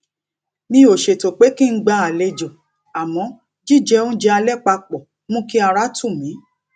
mi ò ṣètò pé kí n gba alejo àmó jíjẹ oúnjẹ alé pa pò mú kí ara tù mí